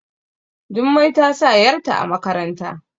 Jummai ta sa yarta a makarantar